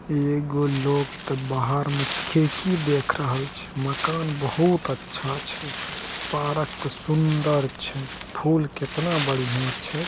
एगो लोग ते बाहर में छै खिड़की देख रहल छै मकान बहुत अच्छा छै पार्क ते सुंदर छै फूल कितना बढ़िया छै।